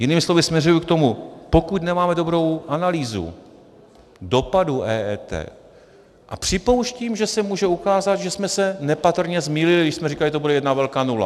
Jinými slovy směřuji k tomu, pokud nemáme dobrou analýzu dopadu EET, a připouštím, že se může ukázat, že jsme se nepatrně zmýlili, když jsme říkali, že to bude jedna velká nula.